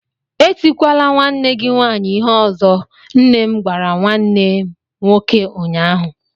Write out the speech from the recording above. Etikwala nwanne gị nwanyị ịhe ọzọ! nnem gwara nwannem nwoke ụnyaahụ.